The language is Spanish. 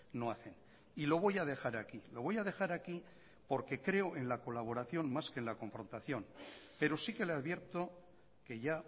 no hacen y lo voy a dejar aquí lo voy a dejar aquí porque creo en la colaboración más que en la confrontación pero sí que le advierto que ya